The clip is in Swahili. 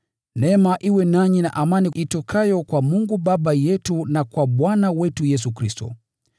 Neema iwe nanyi na amani itokayo kwa Mungu Baba yetu na kwa Bwana wetu Yesu Kristo,